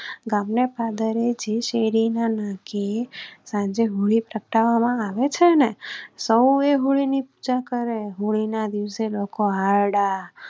ગામ ને પાદરે જી શેરી નાકે જે હોળી ને સળગાવામાં આવે છેને સૌ એ હોળી ની પૂજા કરે હોળી ના દિવસે લોકો હાર ડા,